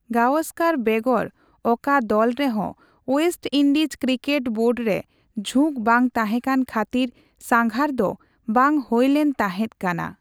ᱜᱟᱣᱚᱥᱠᱟᱨ ᱵᱮᱜᱚᱨ ᱚᱠᱟ ᱫᱚᱞ ᱨᱮᱦᱚ ᱳᱭᱮᱥᱴ ᱤᱱᱰᱤᱡᱽ ᱠᱨᱤᱠᱮᱴ ᱵᱳᱨᱰ ᱨᱮ ᱡᱷᱩᱸᱠ ᱵᱟᱝ ᱛᱟᱦᱮᱠᱟᱱ ᱠᱷᱟᱛᱤᱨ ᱥᱟᱜᱷᱟᱨ ᱫᱚ ᱵᱟᱝ ᱦᱳᱭᱞᱮᱱ ᱛᱟᱦᱮᱫ ᱠᱟᱱᱟ ᱾